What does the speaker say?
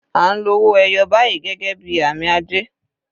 À ń lo owó ẹyọ báyìí gẹ́gẹ́ bí àmì ajé.